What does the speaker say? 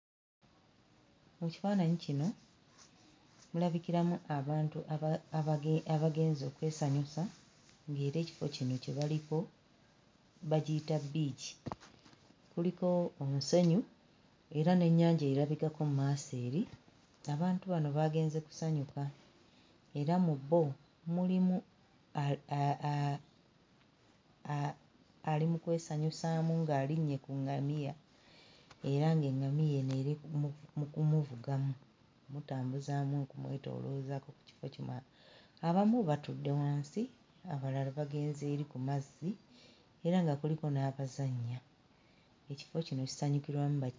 Mu kifaananyi kino mulabikiramu abantu abage abagenze okwesanyusa ng'era ekifo kino kye baliko bagiyita bbiici. Kuliko omusenyu era n'ennyanja erabikako mu maaso eri, abantu bano baagenze kusanyuka era mu bo mulimu a... ali mu kwesanyusaamu ng'alinnye ku ŋŋamiya era ng'eŋŋamiya eno eri mu mu kumuvugamu mmutambuzaamu okumwetooloozaako ku kifo kino. Abamu batudde wansi, abalala bagenze eri ku mazzi era nga kuliko n'abazannya. Ekifo kino kisanyukirwamu ba....